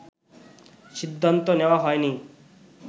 সিদ্ধান্ত নেওয়া হয়নি